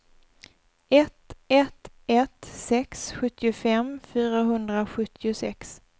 ett ett ett sex sjuttiofem fyrahundrasjuttiosex